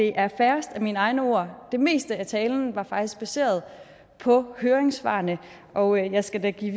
er færrest af mine egne ord det meste af talen var faktisk baseret på høringssvarene og jeg skal da give